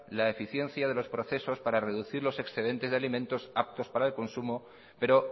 la eficiencia de los procesos para reducir los excedentes de alimentos aptos para el consumo pero